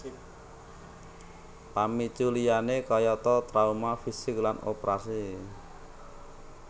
Pamicu liyane kayata trauma fisik lan oprasi